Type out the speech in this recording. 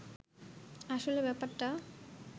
আসলে ব্যাপারটা